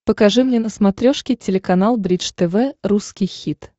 покажи мне на смотрешке телеканал бридж тв русский хит